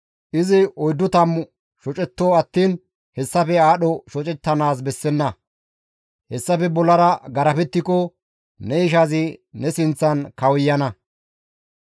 Izi oyddu tammuto shocetto attiin hessafe aadho shocettanaas bessenna; hessafe bollara garafettiko ne ishazi ne sinththan kawuyana.